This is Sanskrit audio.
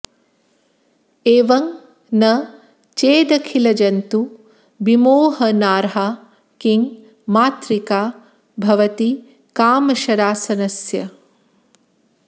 एवं न चेदखिलजन्तु विमोहनार्हा किं मातृका भवति कामशरासनस्य